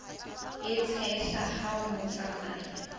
e tshehla ha o tsamaya